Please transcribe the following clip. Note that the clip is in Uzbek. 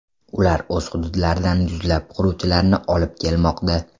Ular o‘z hududlaridan yuzlab quruvchilarni olib kelmoqda.